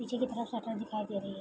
नीचे की तरफ सटर दिखाई दे रही है।